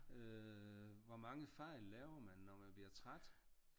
Øh hvor mange fejl laver man når man bliver træt?